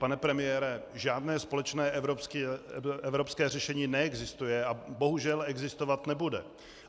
Pane premiére, žádné společné evropské řešení neexistuje a bohužel existovat nebude.